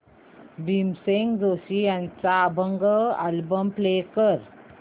भीमसेन जोशी यांचा अभंग album play कर